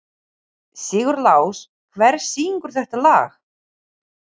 Sigurlás, hver syngur þetta lag?